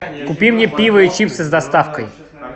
купи мне пиво и чипсы с доставкой